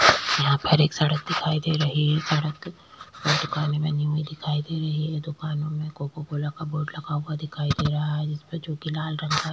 यहाँ पर एक सड़क दिखाई दे रही है सड़क दुकानों में दिखाई दे रही है ये दुकानों में कोकोकोला का बोर्ड लगा हुआ दिखाई दे रहा है जिसपे जो कि लाल रंग का --